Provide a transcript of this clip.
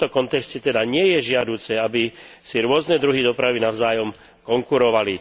V tomto kontexte teda nie je žiaduce, aby si rôzne druhy dopravy navzájom konkurovali.